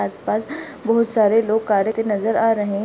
आसपास बहुत सारे लोग नजर आ रहे हैं।